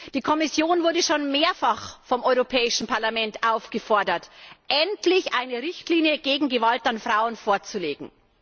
Die Kommission wurde schon mehrfach vom Europäischen Parlament aufgefordert, endlich eine Richtlinie gegen Gewalt an Frauen vorzulegen.